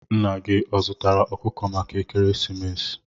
Nna gi ọ zụtara okuko maka ekeresimesi?